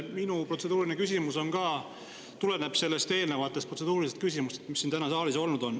Minu protseduuriline küsimus tuleneb ka eelnevatest protseduurilistest küsimustest, mis täna saalis on kõlanud.